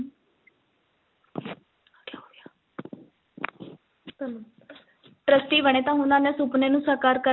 trustee ਬਣੇ ਤਾਂ ਸੁਪਨੇ ਨੂੰ ਸਾਕਾਰ ਕਰ,